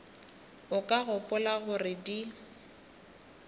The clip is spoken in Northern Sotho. o ka gopola gore di